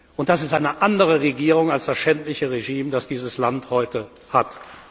und das ist eine andere Regierung als das schändliche Regime, das dieses Land heute